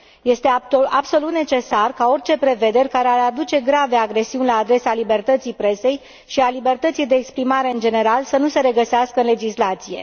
Este absolut necesar ca orice prevederi care ar aduce grave agresiuni la adresa libertății presei și a libertății de exprimare, în general, să nu se regăsească în legislație.